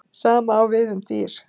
Sama á við um dýr.